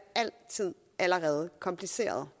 altid allerede kompliceret